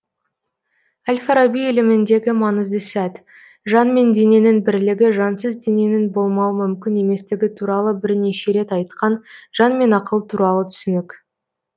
әл фараби іліміндегі маңызды сәт жан мен дененің бірлігі жансыз дененің болмауы мүмкін еместігі туралы бірнеше рет айтқан жан мен ақыл туралы түсінік